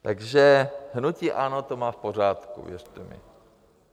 Takže hnutí ANO to má v pořádku, věřte mi.